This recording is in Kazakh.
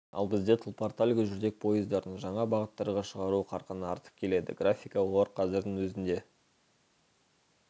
ал бізде тұлпар тальго жүрдек пойыздарын жаңа бағыттарға шығару қарқыны артып келеді графика олар қазірдің өзінде